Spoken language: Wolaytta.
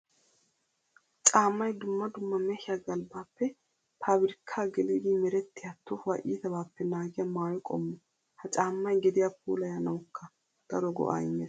Caamay dumma dumma mehiya galbbappe pabirkka geliddi merettiya tohuwaa iittabappe naagiya maayo qommo. Ha caamay gediya puullayanawukka daro go'a immees.